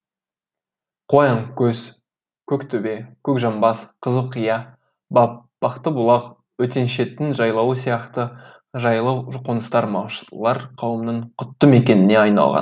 қоянкөз көктөбе көкжамбас қызылқия батпақтыбұлақ өтеншеттің жайлауы сияқты жайлы қоныстар малшылар қауымының құтты мекеніне айналған